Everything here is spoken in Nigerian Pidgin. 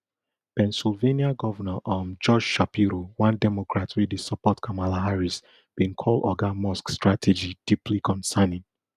pennsylvania governor um josh shapiro one democrat wey dey support kamala harris bin call oga musk strategy deeply concerning